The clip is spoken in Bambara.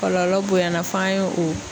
Kɔlɔlɔ bonyana f'an ye o